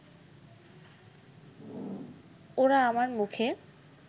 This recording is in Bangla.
ওরা আমার মুখে